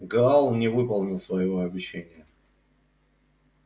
гаал не выполнил своего обещания